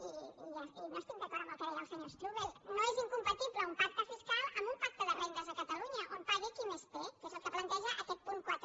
i no estic d’acord amb el que deia el senyor strubell no és incompatible un pacte fiscal amb un pacte de rendes a catalunya on pagui qui més té que és el que planteja aquest punt quatre